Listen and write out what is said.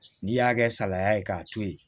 N'i y'a kɛ salaya ye k'a to yen